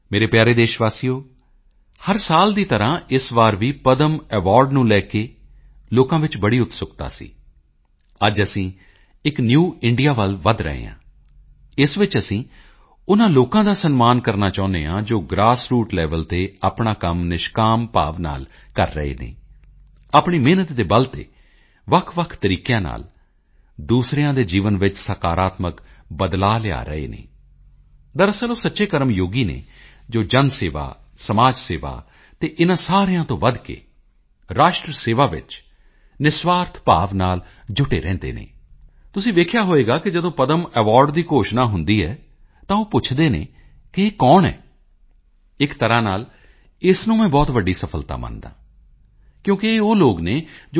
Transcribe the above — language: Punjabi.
ਮੇਰੇ ਪਿਆਰੇ ਦੇਸ਼ ਵਾਸੀਓ ਹਰ ਸਾਲ ਦੀ ਤਰ੍ਹਾਂ ਇਸ ਵਾਰ ਵੀ ਪਦਮ ਅਵਾਰਡ ਨੂੰ ਲੈ ਕੇ ਲੋਕਾਂ ਵਿੱਚ ਬੜੀ ਉਤਸੁਕਤਾ ਸੀ ਅੱਜ ਅਸੀਂ ਇੱਕ ਨਿਊ ਇੰਡੀਆ ਵੱਲ ਵਧ ਰਹੇ ਹਾਂ ਇਸ ਵਿੱਚ ਅਸੀਂ ਉਨ੍ਹਾਂ ਲੋਕਾਂ ਦਾ ਸਨਮਾਨ ਕਰਨਾ ਚਾਹੁੰਦੇ ਹਾਂ ਜੋ ਗ੍ਰਾਸਰੂਟਲੇਵਲ ਤੇ ਆਪਣਾ ਕੰਮ ਨਿਸ਼ਕਾਮ ਭਾਵ ਨਾਲ ਕਰ ਰਹੇ ਹਨ ਆਪਣੀ ਮਿਹਨਤ ਦੇ ਬਲ ਤੇ ਵੱਖਵੱਖ ਤਰੀਕਿਆਂ ਨਾਲ ਦੂਸਰਿਆਂ ਦੇ ਜੀਵਨ ਵਿੱਚ ਸਕਾਰਾਤਮਕ ਬਦਲਾਓ ਲਿਆ ਰਹੇ ਹਨ ਦਰਅਸਲ ਉਹ ਸੱਚੇ ਕਰਮਯੋਗੀ ਹਨ ਜੋ ਜਨਸੇਵਾ ਸਮਾਜਸੇਵਾ ਅਤੇ ਇਨ੍ਹਾਂ ਸਾਰਿਆਂ ਤੋਂ ਵਧ ਕੇ ਰਾਸ਼ਟਰ ਸੇਵਾ ਵਿੱਚ ਨਿਰਸਵਾਰਥ ਭਾਵ ਨਾਲ ਜੁਟੇ ਰਹਿੰਦੇ ਹਨ ਤੁਸੀਂ ਵੇਖਿਆ ਹੋਵੇਗਾ ਕਿ ਜਦੋਂ ਪਦਮ ਅਵਾਰਡ ਦੀ ਘੋਸ਼ਣਾ ਹੁੰਦੀ ਹੈ ਤਾਂ ਉਹ ਪੁੱਛਦੇ ਹਨ ਕੀ ਇਹ ਕੌਣ ਹੈ ਇੱਕ ਤਰ੍ਹਾਂ ਨਾਲ ਇਸ ਨੂੰ ਮੈਂ ਬਹੁਤ ਵੱਡੀ ਸਫਲਤਾ ਮੰਨਦਾ ਹਾਂ ਕਿਉਂਕਿ ਇਹ ਉਹ ਲੋਕ ਹਨ ਜੋ t